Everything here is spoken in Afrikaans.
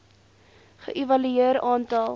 ge evalueer aantal